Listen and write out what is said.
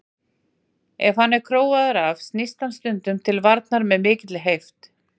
Ef hann er króaður af snýst hann stundum til varnar með mikilli heift.